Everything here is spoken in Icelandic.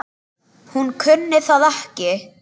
Hún kunni það ekki.